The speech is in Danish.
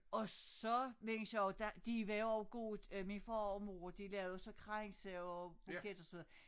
Og så mindes jeg også der de var også gode øh min far og min mor de lavede så kranse og buketter og sådan noget